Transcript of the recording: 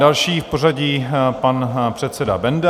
Další v pořadí pan předseda Benda.